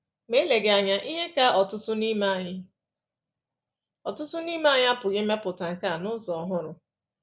Ma eleghị anya, ihe ka ọtụtụ n’ime anyị ọtụtụ n’ime anyị apụghị imepụta nkà na ụzụ ọhụrụ.